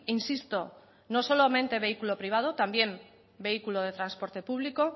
insisto no solamente vehículo privado también vehículo de transporte público